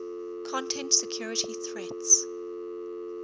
content security threats